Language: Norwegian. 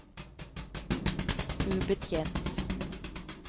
ubetjent